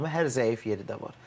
Amma hər zəif yeri də var.